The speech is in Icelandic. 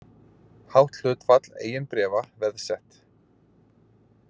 Hátt hlutfall eigin bréfa veðsett